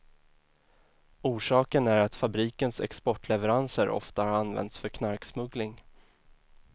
Orsaken är att fabrikens exportleveranser ofta har använts för knarksmuggling.